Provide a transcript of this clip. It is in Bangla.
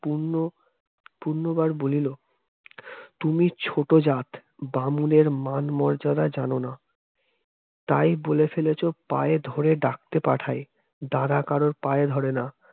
পুণ্য পূর্ণ বার বলিল তুমি ছোট জাত বামুনের মান মর্যাদা জানো না। তাই বলে ফেলেছ পায়ে ধরে ডাকতে পাঠায় তারা কারোর পায়ে ধরে না